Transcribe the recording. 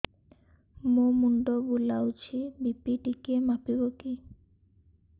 ମୋ ମୁଣ୍ଡ ବୁଲାଉଛି ବି.ପି ଟିକିଏ ମାପିବ କି